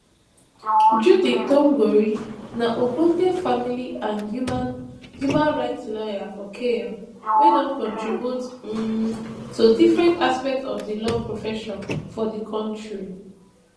judy thongori na ogbonge family and human human rights lawyer for kenya wey don contribute um to different aspect of di law profession for di kontri